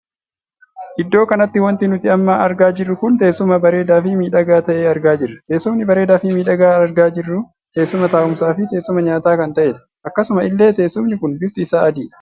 Iddoo kanatti wanti nuti amma argaa jirru kun teessuma bareedaa fi miidhagaa tahee argaa jirra. Teessumni bareedaa fi miidhagaa argaa jirru, teessuma taa'umsaa fi teessuma nyaataa kan tahedha. Akkasuma illee teessumni kun bifti isaa adiidha.